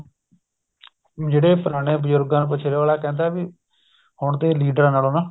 ਜਿਹੜੇ ਪੁਰਾਣੇ ਬਜੁਰਗਾਂ ਨੂੰ ਪੁੱਛਲੋ ਅਗਲਾ ਕਹਿੰਦਾ ਵੀ ਹੁਣ ਤੇ ਲੀਡਰਾ ਨਾਲੋ ਨਾ